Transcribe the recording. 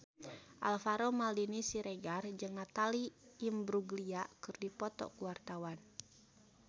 Alvaro Maldini Siregar jeung Natalie Imbruglia keur dipoto ku wartawan